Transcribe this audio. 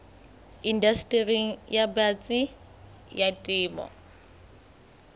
indastering e batsi ya temo